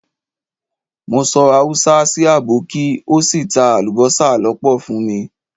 Mo sọ Haúsá sì àbọ́kí ó sì ta alubosa lọ́pọ̀ fún mi.